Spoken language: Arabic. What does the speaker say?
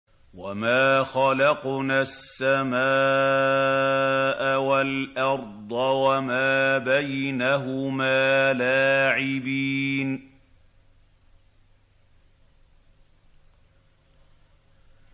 وَمَا خَلَقْنَا السَّمَاءَ وَالْأَرْضَ وَمَا بَيْنَهُمَا لَاعِبِينَ